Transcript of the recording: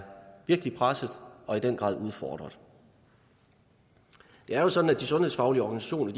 presset og i den grad udfordret det er jo sådan at de sundhedsfaglige organisationer